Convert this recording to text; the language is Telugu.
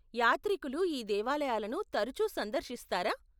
యాత్రికులు ఈ దేవాలయాలను తరుచు సందర్శిస్తారా?